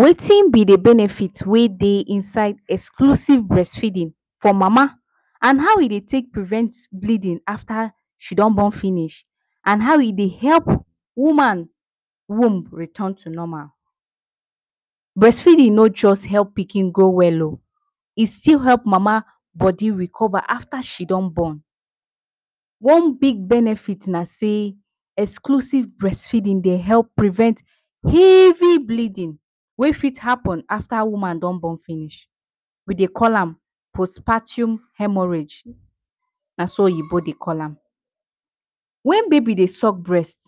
Wetin be the benefit wey dey inside exclusive breastfeeding for mama and how e dey take prevent bleeding after she don born finish and how e dey help woman womb return to normal. Breastfeeding no just help pikin grow well o, e still help mama body recover after she don born. One big benefit na say exclusive breastfeeding dey help prevent heavy bleeding wey fit happen after woman don born finish. We dey call am Postpartum Haemorrhage na so oyinbo dey call am. When baby dey suck breast,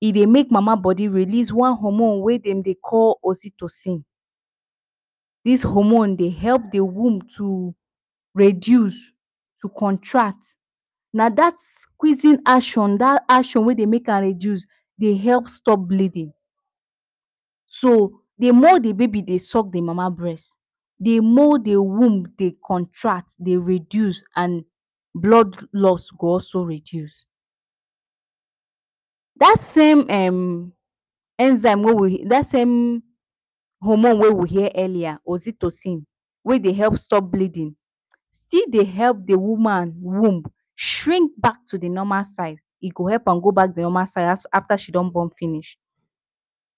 e dey make mama body release one hormone wey dem dey call oxytocin. This hormone dey help the womb to reduce, to contract na that squeezing action that action wey dey make am reduce dey help stop bleeding. So, the more the baby dey suck im mama breast the more the womb dey contract, dey reduce and blood loss go also reduce. Dat same um enzyme wey we, that same hormone wey we hear earlier oxytocin wey help stop bleeding, still dey help the woman womb shrink back to the normal size, e go help am go back the normal size after she don born finish.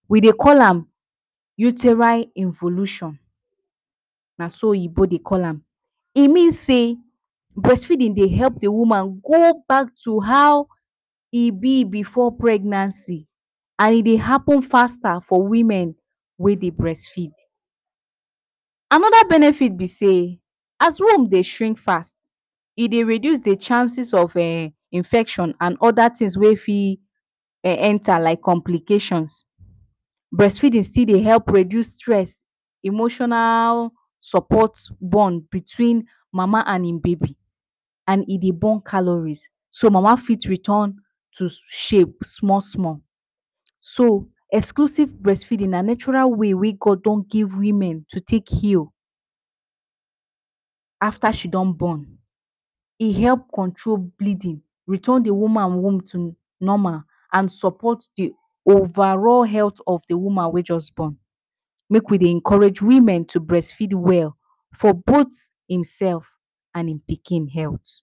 We dey call am Uteri evolution, na so oyinbo dey call am. E mean say breastfeeding dey help the woman go back to how e be before pregnancy, and e dey happen faster for women wey dey breastfeed. Another benefit be sey as womb dey shrink fast e dey reduce the chances of erm infection and other things wey fit enter like complications. Breastfeeding still dey help reduce stress, emotional support bond between mama and im baby. And e dey burn calories so mama fit return to shape small small. So exclusive breastfeeding na natural way wey God don give women to take heal after she don born, e help control bleeding, return the woman womb to normal, and support the overall health of the woman wey just born. Make we dey encourage women to breastfeed well for both im self and im pikin health.